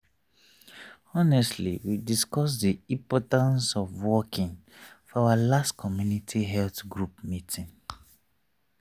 honestly we discuss the importance of walking for our last community health group meeting.